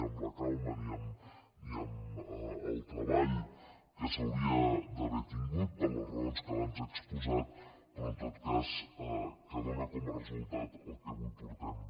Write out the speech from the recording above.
amb la calma ni amb el treball que s’hauria d’haver tingut per les raons que abans he exposat però en tot cas que dóna com a resultat el que avui portem